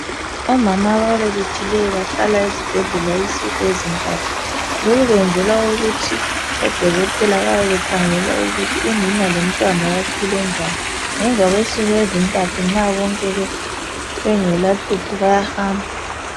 Omama ababelethileyo Bahlala esibhedlela insuku ezintathu. Lokhu kwenzelwa ukuthi odokothela bayabe bekhangela ukuthi unina lomntwana baphile njani .Ngemva kwensuku ezintathu nxa bonke bengelahlupho bayahamba.